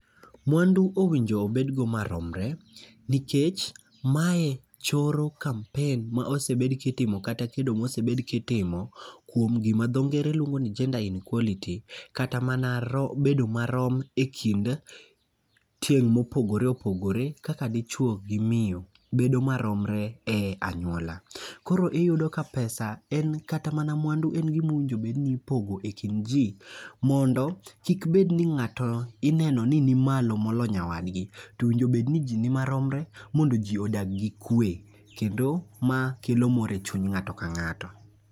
Mwandu owinjo obedgo maromre, nikech mae choro kampen ma osebed kitimo kata kedo mosebed kitimo kuom gima dho ngere luongo ni gender inquality. Kata mana ro bedo marom e kind tieng' mopogore opogore kaka dichuo gi miyo bedo maromre e anyuola. Koro iyudo ka pesa en kata mana mwandu en gimowinjo bedni ipogo e kind ji. Mondo, kik bedni ni ng'ato ineno ni nimalo molo nyawadgi. Towinjobed ni ji ni maromre mondo ji odag gi kwe, kendo ma kelo mor e chuny ng'ato ka ng'ato.